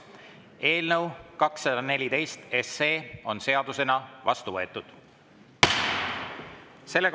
Eelnõu 214 on seadusena vastu võetud.